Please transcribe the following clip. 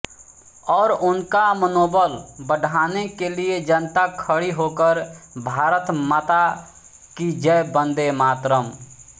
और उनका मनोबल बढ़ाने के लिए जनता खड़ी होकर भारतमाता की जय वंदे मातरम्